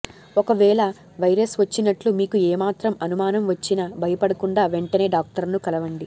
ఒకవేళ వైరస్ వచ్చినట్లు మీకు ఏ మాత్రం అనుమానం వచ్చినా భయపడకుండా వెంటనే డాక్టర్ను కలవండి